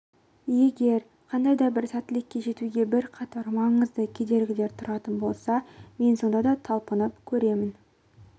егер қандай да бір сәттілікке жетуге бірқатар маңызды кедергілер тұратын болса мен сонда да талаптанып көремін